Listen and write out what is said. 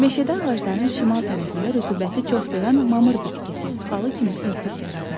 Meşədə ağacların şimal tərəfində rütubəti çox sevən mamır bitkisi xalı kimi örtük yaradır.